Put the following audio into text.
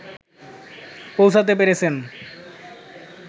পৌঁছাতে পেরেছেন